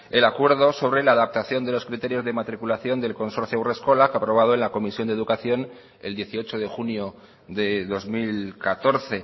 el acuerdo sobre la adaptación de los criterios de matriculación del consorcio haurreskolak aprobado en la comisión de educación el dieciocho de junio de dos mil catorce